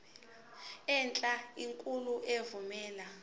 enhle enkulu evumela